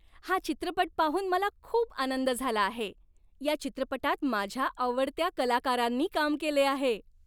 हा चित्रपट पाहून मला खूप आनंद झाला आहे. या चित्रपटात माझ्या आवडत्या कलाकारांनी काम केले आहे.